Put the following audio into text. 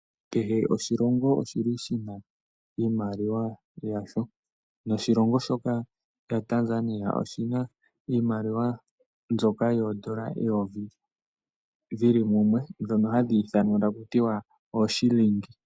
Kehe oshilongo oshili shi na iimaliwa yasho. Noshilongo shoka shaTanzania oshina iimaliwa mboka yeyovi yili mumwe mboka hayi ithanwa taku tiwa ooShilingi.